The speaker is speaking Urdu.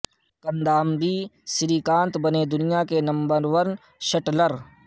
کندامبی سری کانت بنے دنیا کے نمبر ون شٹلر